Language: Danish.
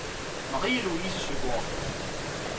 Marie-Louise Søgaard